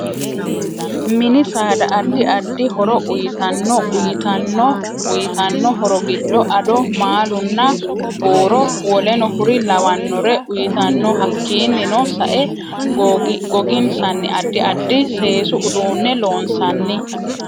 Mini saada addi addi horo uyiitanno uyiitanno uyiitanno horo giddo ado, maalunna buuro woleno kuri lawannore uyiitanno hakiinino sae goginsanni addi addi seesu uduunne loonsanni